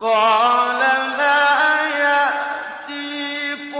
قَالَ لَا يَأْتِيكُمَا